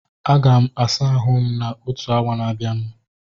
A ga m asa ahụ m na otu awa na abianu